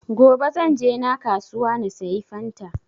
gobe zan je na kasuwa na sayi fanta